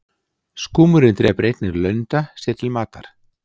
skúmurinn drepur einnig lunda sér til matar